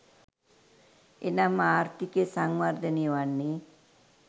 එනම් ආර්ථිකය සංවර්ධනය වන්නේ